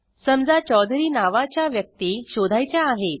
समजा चौधुरी नावाच्या व्यक्ती शोधायच्या आहेत